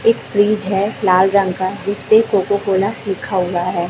एक फ्रिज है लाल रंग का जिसपे कोको कोला लिखा हुआ है।